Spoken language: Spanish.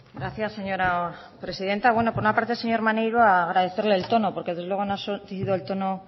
gracias señora presidenta por una parte señor maneiro agradecerle el tono porque desde luego no ha surtido el tono